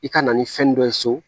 I ka na ni fɛn dɔ ye so